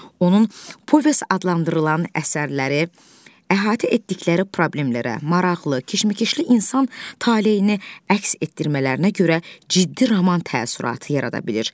Onun povest adlandırılan əsərləri əhatə etdikləri problemlərə, maraqlı, keşməkeşli insan taleyini əks etdirmələrinə görə ciddi roman təəssüratı yarada bilir.